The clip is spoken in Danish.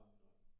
Nej nej